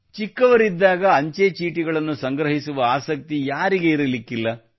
ಚಿಕ್ಕವರಿದ್ದಾಗ ಅಂಚೆಚೀಟಿಗಳನ್ನು ಸಂಗ್ರಹಿಸುವ ಆಸಕ್ತಿ ಯಾರಿಗೆ ಇರಲಿಕ್ಕಿಲ್ಲ